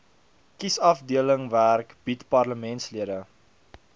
kiesafdelingwerk bied parlementslede